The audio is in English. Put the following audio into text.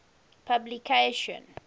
publication